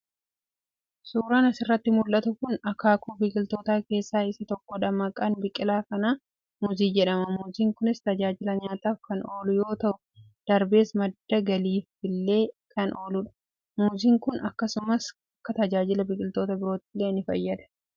Suuraan asirratti mul'atu kun akaakuu biqilootaa keessaa isa tokkodha. Maqaan biqilaa kanaa muuzii jedhama. Muuziin kunis tajaajila nyaataaf kan oolu yoo ta'u, darbees madda galiifillee kan ooludha. Muuziin kun akkasumas, akka tajaajila biqiloota biroottillee ni fayyada.